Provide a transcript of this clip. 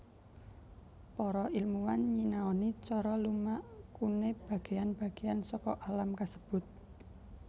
Para ilmuwan nyinaoni cara lumakuné bagéan bagéan saka alam kasebut